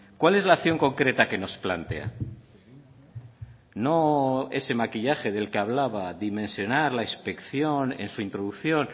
cuál es la acción concreta que nos plantea no ese maquillaje del que hablaba dimensionar la inspección en su introducción